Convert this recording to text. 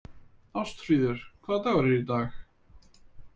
Ástfríður, hvaða dagur er í dag?